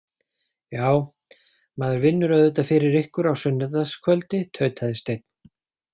Já, maður vinnur auðvitað fyrir ykkur á sunnudagskvöldi, tautaði Steinn.